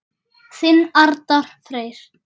Þinn Arnar Freyr.